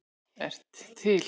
ert til!